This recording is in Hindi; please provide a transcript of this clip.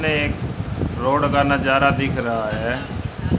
इसमें एक रोड का नजारा दिख रहा है।